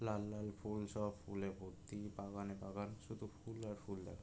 লাল লাল ফুল সব ফুলে ভর্তি বাগানে বাগান শুধু ফুল আর ফুল দেখা--